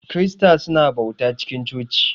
kirista su na bauta cikin coci.